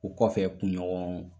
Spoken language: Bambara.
O kɔfɛ kunɲɔgɔn